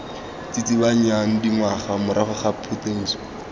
tsitsibanyang dingwaga morago ga phuduso